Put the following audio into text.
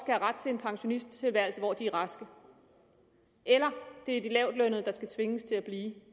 have ret til en pensionisttilværelse hvor de er raske eller om det er de lavtlønnede der skal tvinges til at blive